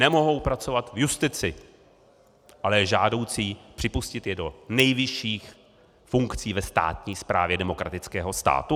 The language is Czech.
Nemohou pracovat v justici, ale je žádoucí připustit je do nejvyšších funkcí ve státní správě demokratického státu?